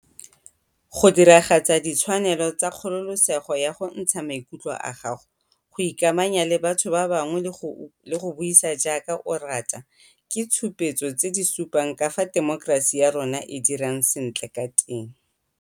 Go diragatsa ditshwanelo tsa kgololesego ya go ntsha maikutlo a gago, go ikamanya le batho ba bangwe le go bua jaaka o rata ke ditshupetso tse di supang ka fao temokerasi ya rona e dirang sentle ka teng.